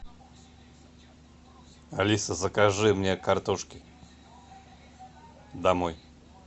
алиса закажи мне картошки домой